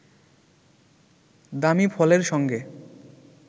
দামী ফলের সঙ্গে